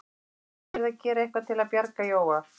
Hann vissi að hann yrði að gera eitthvað til að bjarga Jóa.